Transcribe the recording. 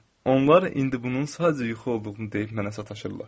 Onlar indi bunun sadəcə yuxu olduğunu deyib mənə sataşırlar.